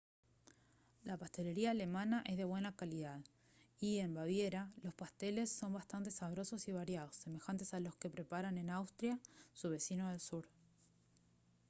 la pastelería alemana es de buena calidad y en baviera los pasteles son bastante sabrosos y variados semejantes a los que preparan en austria su vecino del sur